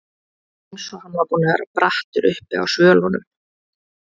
Eins og hann var búinn að vera brattur uppi á svölunum.